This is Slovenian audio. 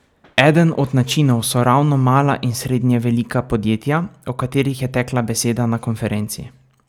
Eden od načinov so ravno mala in srednje velika podjetja, o katerih je tekla beseda na konferenci.